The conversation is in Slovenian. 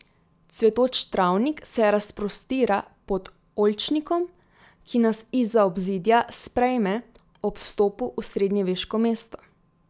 Cvetoč travnik se razprostira pod oljčnikom, ki nas izza obzidja sprejme ob vstopu v srednjeveško mesto.